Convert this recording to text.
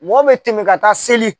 Mɔ bɛ tɛmɛ ka taa seli